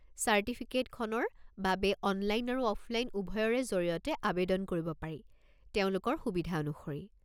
চাৰ্টিফিকেটখনৰ বাবে অনলাইন আৰু অফলাইন উভয়ৰে জৰিয়তে আৱেদন কৰিব পাৰি, তেওঁলোকৰ সুবিধা অনুসৰি।